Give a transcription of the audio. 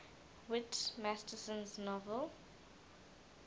whit masterson's novel